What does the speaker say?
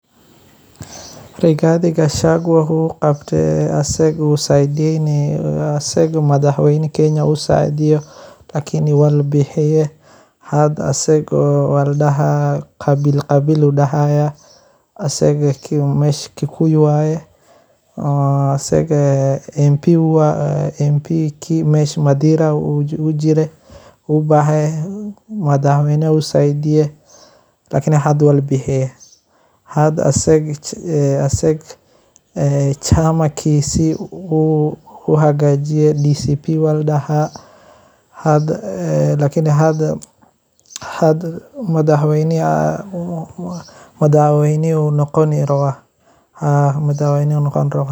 Rigathi Gachangu wuxu qabtaay asiga madax weyna Kenya uu saaideyo lakini waa la bixiiye hadda asigo qabilqabil daahayo asiga mesha Kikuyu waye asiga MP kii mesha Madiira ayu jire ubaaxayah madax weynaha wu saaideye lakini wa labixi hada asiga chamakiisi wu xagaajiye lakini hadda Haa hada ,madax weyno ayu noqoni rawa